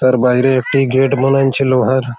তার বাইরে একটি গেট বানান ছে লোহার--।